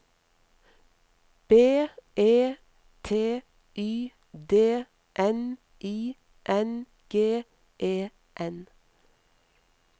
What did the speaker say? B E T Y D N I N G E N